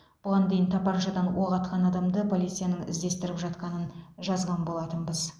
бұған дейін тапаншадан оқ атқан адамды полицияның іздестіріп жатқанын жазған болатынбыз